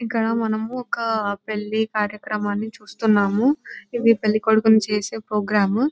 ఇక్కడ మనము ఒక పెళ్లి కార్యక్రమాన్ని చూస్తున్నామా ఇది పెళ్లి కొడుకుని చేసే ప్రోగ్రామ్ .